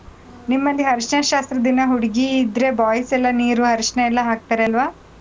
ನಿಮ್ಮಲ್ಲಿ ಅರಿಶಿನ ಶಾಸ್ತ್ರದ್ ದಿನ ಹುಡ್ಗಿ ಇದ್ರೆ boys ಎಲ್ಲಾ ನೀರು, ಅರಿಶಿನ ಎಲ್ಲಾ ಹಾಕ್ತಾರೆ ಅಲ್ವಾ?